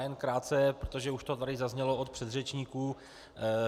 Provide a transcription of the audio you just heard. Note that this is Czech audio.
Jen krátce, protože to tady už zaznělo od předřečníků.